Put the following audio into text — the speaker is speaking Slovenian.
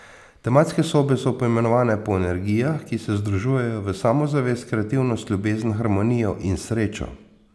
Tematske sobe so poimenovane po energijah, ki se združujejo v samozavest, kreativnost, ljubezen, harmonijo in srečo.